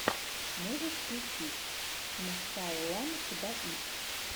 можешь включить мсаллам хдаиб